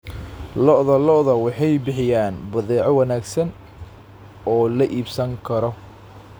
Lo'da lo'da waxay bixiyaan badeeco wanaagsan oo la iibsan karo.